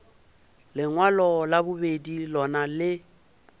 lengwalo la bobedi lona le